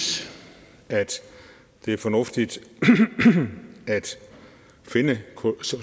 det er fornuftigt at finde